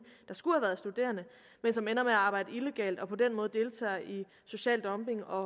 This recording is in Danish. der skulle have været studerende men som ender med at arbejde illegalt og på den måde deltager i social dumping og